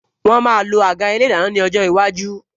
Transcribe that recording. Wọn máa lo àga ilé ìdáná ní ọjọ́ iwájú